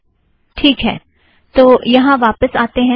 ठीक है - तो यहाँ वापस आतें हैं